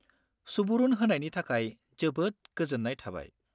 सुबुरुन होनायनि थाखाय जोबोद गोजोन्नाय थाबाय।